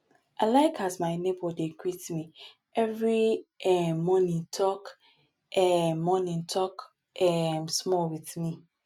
i like as my nebor dey greet me every um morning tok um morning tok um small wit me